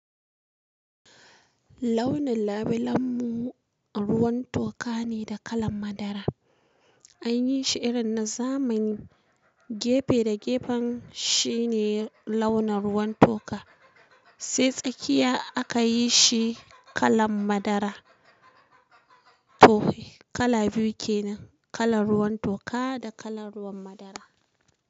Launin labulen mu ruwan toka ne da kalan madara. Anyi shi irin na zamani, gefe da gefen shi ne launa ruwan toka sai tsakiya akayi shi kalan madara. To kala biyu kenan, kala ruwan toka da kalan ruwan madara.